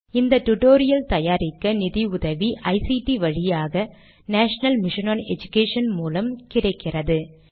இந்த டுடோரியல் தயாரிக்க நிதி உதவி ஐசிடி வழியாக நேஷனல் மிஷன் ஒன் எடுகேஷன் மூலம் கிடைக்கிறது